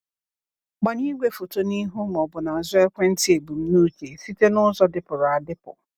Gbanye igwefoto n'ihu ma ọ bụ n’azụ ekwentị ebumnuche site n’ụzọ dịpụrụ adịpụ.